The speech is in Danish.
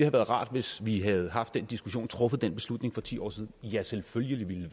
rart hvis vi havde haft den diskussion og truffet den beslutning for ti år siden ja selvfølgelig ville det